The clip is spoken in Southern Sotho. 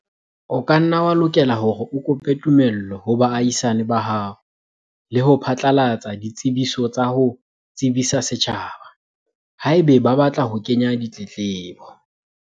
O ka nna wa lokela hore o kope tumello ho baahisane ba hao le ho phatlalatsa ditsebiso tsa ho tsebisa setjhaba, haeba ba batla ho kenya ditletlebo.